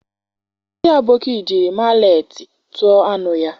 Ndi aboki jiri maletị tuo anu ya.